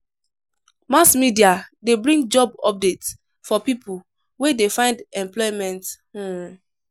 Mass media de bring job updates for pipo wey de find employment um